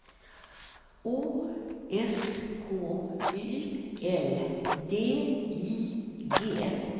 O S K Y L D I G